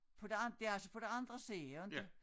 På den det altså på den anden siden jo inte